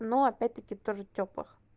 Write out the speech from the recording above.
но опять-таки тоже тёплых